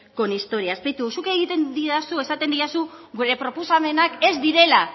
con historias beitu zuk esaten didazu gure proposamenak ez direla